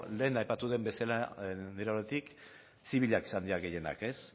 lehen aipatu den bezala nire aldetik zibilak izan dira gehienak